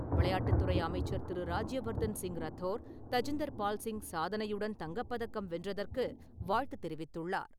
விளையாட்டுத்துறை அமைச்சர் திரு. ராஜ்யவர்தன் சிங் ரத்தோர், தஜிந்தர் பால்சிங் சாதனையுடன் தங்கப்பதக்கம் வென்றதற்கு வாழ்த்து தெரிவித்துள்ளார்.